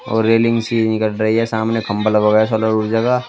और रेलिंग सी रही है सामने खंभा लगा हुआ है सोलर ऊर्जा का।